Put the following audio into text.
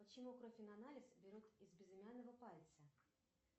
почему кровь на анализ берут из безымянного пальца